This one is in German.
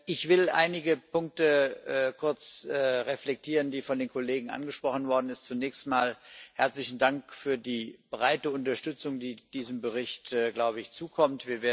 Ich will einige Punkte kurz reflektieren, die von den Kollegen angesprochen worden sind. Zunächst einmal herzlichen Dank für die breite Unterstützung, die diesem Bericht, glaube ich, zukommt.